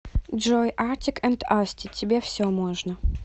джой артик энд асти тебе все можно